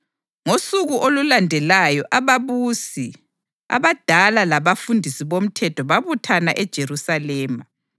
Ngosuku olulandelayo ababusi, abadala, labafundisi bomthetho babuthana eJerusalema.